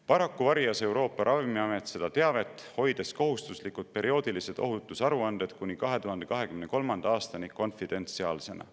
Paraku varjas Euroopa Ravimiamet seda teavet, hoides kohustuslikud perioodilised ohutusaruanded kuni 2023. aastani konfidentsiaalsena.